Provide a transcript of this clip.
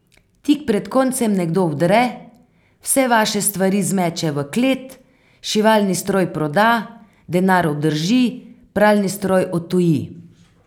Tik pred koncem nekdo vdre, vse vaše stvari zmeče v klet, šivalni stroj proda, denar obdrži, pralni stroj odtuji.